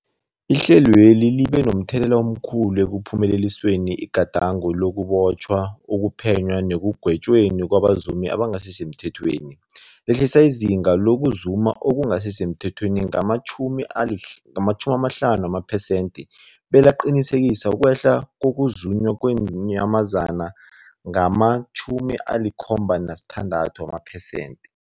Ihlelweli libe momthelela omkhulu ekuphumeleliseni igadango lokubotjhwa, ukuphenywa nekugwetjweni kwabazumi abangasisemthethweni, lehlisa izinga lokuzuma okungasi semthethweni ngama-50 wamaphesenthe belaqinisekisa ukwehla kokuzunywa kweenyamazana ngama-76 wamaphesenthe.